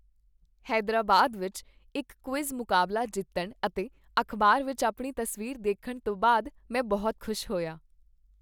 ਹੈਦਰਾਬਾਦ ਵਿੱਚ ਇੱਕ ਕੁਇਜ਼ ਮੁਕਾਬਲਾ ਜਿੱਤਣ ਅਤੇ ਅਖ਼ਬਾਰ ਵਿੱਚ ਆਪਣੀ ਤਸਵੀਰ ਦੇਖਣ ਤੋਂ ਬਾਅਦ ਮੈਂ ਬਹੁਤ ਖੁਸ਼ ਹੋਇਆ।